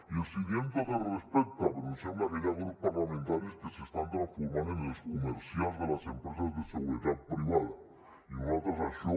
i els hi diem amb tot el respecte però em sembla que hi ha grups parlamentaris que s’estan transformant en els comercials de les empreses de seguretat privada i nosaltres això